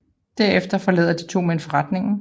Derefter forlader de to mænd forretningen